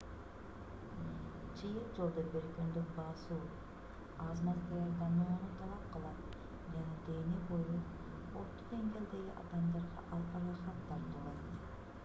чыйыр жолдо бир күндүк басуу аз-маз даярданууну талап кылат жана дене бою орто деңгээлдеги адамдарга ал ырахат тартуулайт